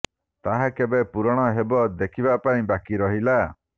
ତାହା କେବେ ପୂରଣ ହେବ ଦେଖିବା ପାଇଁ ବାକି ରହିଲା